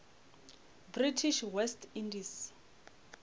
british west indies